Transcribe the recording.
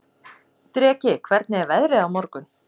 Dreki, hvernig er veðrið á morgun?